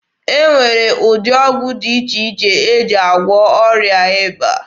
E nwere ụdị ọgwụ dị iche iche e ji agwụọ ọrịa ịba